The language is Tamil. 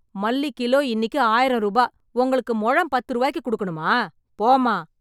மல்லி கிலோ இன்னிக்கு ஆயிரம் ரூபா. உங்களுக்கு முழம் பத்து ரூவாய்க்கு கொடுக்கணுமா? போம்மா.